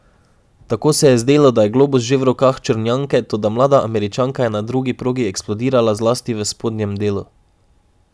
Tako se je zdelo, da je globus že v rokah Črnjanke, toda mlada Američanka je na drugi progi eksplodirala zlasti v spodnjem delu.